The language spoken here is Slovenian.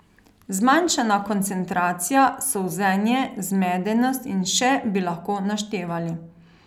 Zmanjšana koncentracija, solzenje, zmedenost in še bi lahko naštevali.